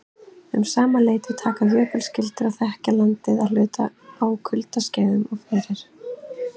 Um sama leyti taka jökulskildir að þekja landið að hluta á kuldaskeiðum og fyrir